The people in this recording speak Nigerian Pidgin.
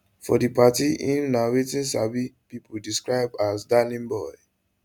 for di party im na wetin sabi pipo describe as darling boy